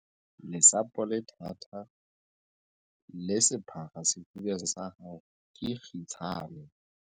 Lesapo le thata, le sephara sefubeng sa hao ke kgitshane.